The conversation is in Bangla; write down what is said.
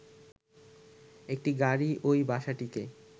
একটি গাড়ি ওই বাসটিকে